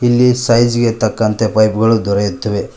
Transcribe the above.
ಇಲ್ಲಿ ಸೈಜ್ ಗೆ ತಕ್ಕಂತೆ ಪೈಪ್ ಗಳು ದೊರೆಯುತ್ತವೆ.